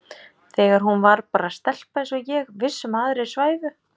Þegar hún var bara stelpa eins og ég, viss um að aðrir svæfu.